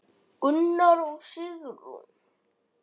Gunnar og Sigrún.